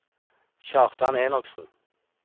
Kjartan Enoksen